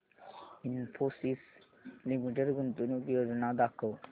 Infosys limited गुंतवणूक योजना दाखव